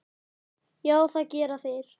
Já, það gera þeir.